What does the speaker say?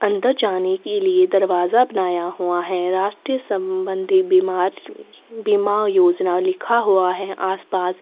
अन्दर जाने के लिए दरवाज़ा बनाया हुआ है राष्ट्रीय सम्बन्धी बीमार बीमा योजना लिखा हुआ है आस पास --